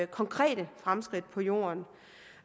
konkrete fremskridt på jorden